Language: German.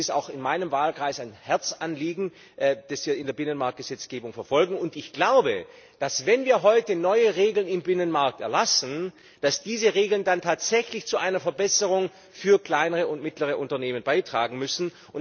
Das ist auch in meinem Wahlkreis ein Herzensanliegen, das wir in der Binnenmarktgesetzgebung verfolgen. Ich glaube, dass, wenn wir heute neue Regeln im Binnenmarkt erlassen, diese Regeln dann tatsächlich zu einer Verbesserung für kleinere und mittlere Unternehmen beitragen müssen.